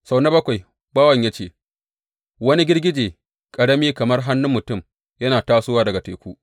Sau na bakwai, bawan ya ce, Wani girgije ƙarami kamar hannun mutum yana tasowa daga teku.